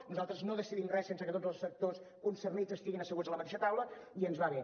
nosaltres no decidim re sense que tots els sectors concernits estiguin asseguts a la mateixa taula i ens va bé